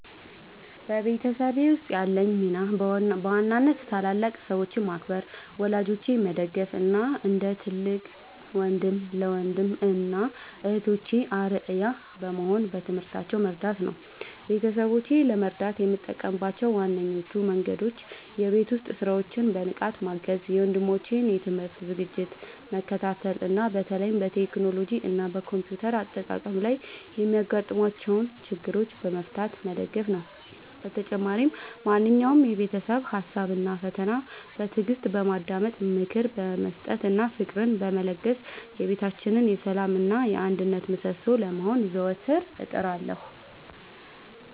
በቤተሰቤ ውስጥ ያለኝ ሚና በዋናነት ታላላቅ ሰዎችን ማክበር፣ ወላጆቼን መደገፍ እና እንደ ትልቅ ወንድም ለወንድም እና እህቶቼ አርአያ በመሆን በትምህርታቸው መርዳት ነው። ቤተሰቦቼን ለመርዳት የምጠቀምባቸው ዋነኞቹ መንገዶች የቤት ውስጥ ሥራዎችን በንቃት ማገዝ፣ የወንድሞቼን የትምህርት ዝግጅት መከታተል እና በተለይም በቴክኖሎጂ እና በኮምፒውተር አጠቃቀም ላይ የሚያጋጥሟቸውን ችግሮች በመፍታት መደገፍ ነው። በተጨማሪም ማንኛውንም የቤተሰብ ሀሳብ እና ፈተና በትዕግስት በማዳመጥ፣ ምክር በመስጠት እና ፍቅርን በመለገስ የቤታችን የሰላም እና የአንድነት ምሰሶ ለመሆን ዘወትር እጥራለሁ።